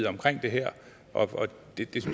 omkring det her og